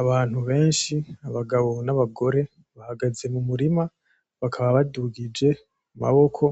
Abantu beshi abagabo n'abagore bahaze mu murima bakaba badugije amaboko